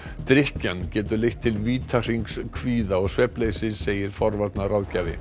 drykkjan getur leitt til vítahrings kvíða og svefnleysis segir